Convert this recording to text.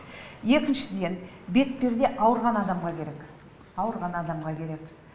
екіншіден бетперде ауырған адамға керек ауырған адамға керек